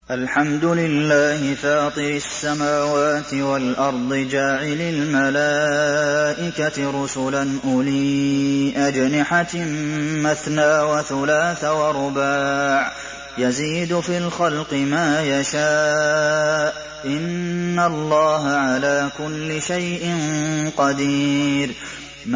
الْحَمْدُ لِلَّهِ فَاطِرِ السَّمَاوَاتِ وَالْأَرْضِ جَاعِلِ الْمَلَائِكَةِ رُسُلًا أُولِي أَجْنِحَةٍ مَّثْنَىٰ وَثُلَاثَ وَرُبَاعَ ۚ يَزِيدُ فِي الْخَلْقِ مَا يَشَاءُ ۚ إِنَّ اللَّهَ عَلَىٰ كُلِّ شَيْءٍ قَدِيرٌ